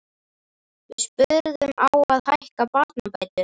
Við spurðum, á að hækka barnabætur?